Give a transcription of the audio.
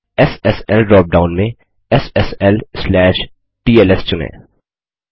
SSL drop down में SSL TLS चुनें